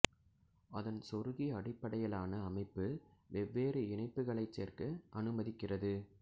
அதன் சொருகி அடிப்படையிலான அமைப்பு வெவ்வேறு இணைப்புகளைச் சேர்க்க அனுமதிக்கிறது